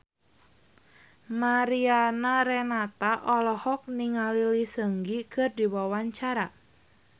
Mariana Renata olohok ningali Lee Seung Gi keur diwawancara